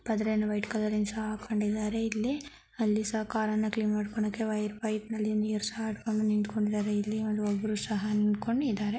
ಪಡ್ರೆ ಅನ್ನು ವೈಟ್ ಕಲರ್ರಿನ್ ಸಹ ಹಾಕೊಂಡಿದ್ದಾರೆ ಇಲ್ಲಿ ಅಲ್ಲಿ ಸಹ ಕಾರ್ ನ್ನು ಕ್ಲೀನ್ ಮಾಡ್ಕೊಣಕ್ಕೆ ವೈರ್ ಪೈಪ್ ನಲ್ಲಿ ನೀರು ಸಹ ಹಿಟ್ಕೊಂಡು ನಿಂತ್ಕೊಂಡಿದ್ದಾರೆ ಇಲ್ಲಿ ಒಂದ್ ಒಬ್ರು ಸಹ ನಿಂತ್ ಕೊಂಡಿದಾರೆ.